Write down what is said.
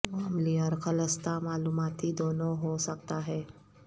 وہ عملی اور خالصتا معلوماتی دونوں ہو سکتا ہے